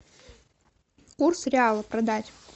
курс реала продать